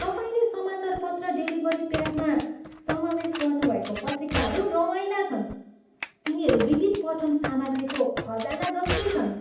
तपाईँले समाचारपत्र डेलिभरी प्याकमा समावेश गर्नुभएको पत्रिकाहरू रमाइला छन्। तिनीहरू विविध पठन सामग्रीको खजाना जस्तै छन्।